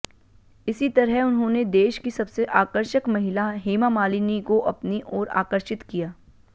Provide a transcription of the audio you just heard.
इसी तरह उन्होंने देश की सबसे आकर्षक महिला हेमा मालिनी को अपनी ओर आकर्षित किया